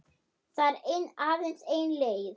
Það er aðeins ein leið